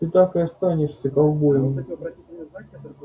ты так и остаёшься ковбоем